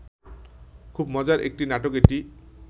খুব মজার একটি নাটক এটি